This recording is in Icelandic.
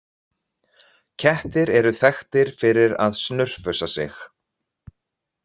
Kettir eru þekktir fyrir að snurfusa sig.